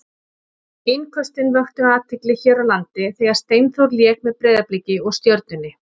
Innköstin vöktu athygli hér á landi þegar Steinþór lék með Breiðabliki og Stjörnunni.